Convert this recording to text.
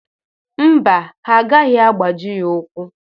Mba, ha agaghị abaji ya ụ́kwụ́.